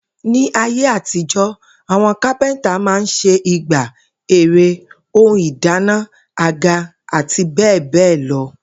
Ní ayé àtijó̩, àwo̩n kápẹ́ntà máa n s̩e igbá, ère, ohun ìdáná, àga, àti bé̩è̩ bé̩è̩ lo̩